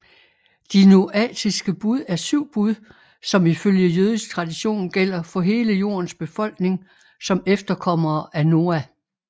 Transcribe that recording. De noatiske bud er syv bud som ifølge jødisk tradition gælder for hele jordens befolkning som efterkommere af Noa